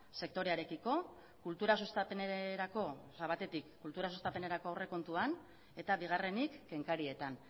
sektorearekiko batetik kultura sustapenerako aurrekontuan eta bigarrenik kenkarietan